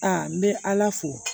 Aa n bɛ ala fo